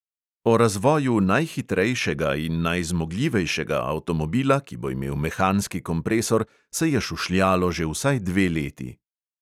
O razvoju najhitrejšega in najzmogljivejšega avtomobila, ki bo imel mehanski kompresor, se je šušljalo že vsaj dve leti.